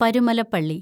പരുമലപ്പള്ളി